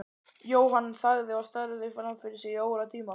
Jóhann þagði og starði fram fyrir sig í óratíma.